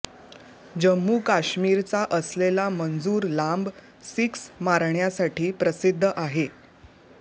जम्मू काश्मीरचा असलेला मंजूर लांब सिक्स मारण्यासाठी प्रसिद्ध आहे